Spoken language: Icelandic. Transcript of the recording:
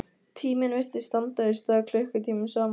Tíminn virtist standa í stað klukkutímum saman.